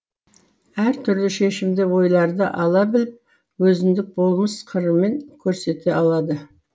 әр түрлі шешімді ойларды ала біліп өзіндік болмыс қырымен көрсете алады